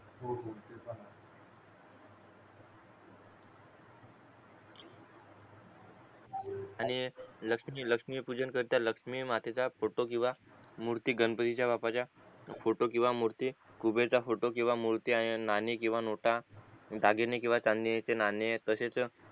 आणि लक्ष्मी लक्ष्मी पूजन करता लक्ष्मी मातेचं फोटो किंवा मूर्ती गणपतीचा बाप्पाचा फोटो किंवा मूर्ती कुबेराचा फोटो किंवा मूर्ती नाणी किंवा नोटा दागिने किंवा चांदीचे नाणी तसेच